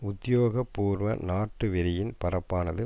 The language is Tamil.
உத்தியோக பூர்வ நாட்டு வெறியின் பரப்பானது